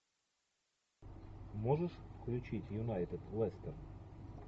можешь включить юнайтед лестер